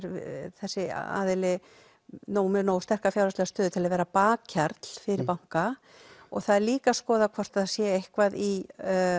þessi aðili með nógu sterka fjárhagslega stöðu til að vera bakhjarl fyrir banka og það er líka skoðað hvort það sé eitthvað í